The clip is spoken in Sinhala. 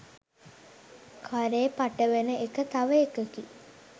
කරේ පටවන එක තව එකකි.